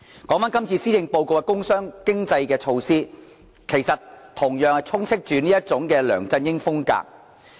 說回這次施政報告的工商經濟措施，其實同樣充斥着這種"梁振英風格"。